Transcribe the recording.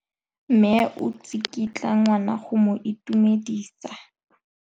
Mme o tsikitla ngwana go mo itumedisa.